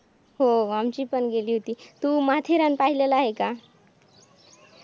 हो आमची पण गेली होती. तू माथेरान पाहिलेलं आहे का?